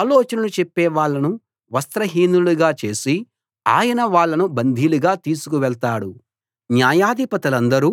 ఆలోచనలు చెప్పేవాళ్ళను వస్త్రహీనులనుగా చేసి ఆయన వాళ్ళను బందీలుగా తీసుకువెళ్తాడు న్యాయాధిపతులందరూ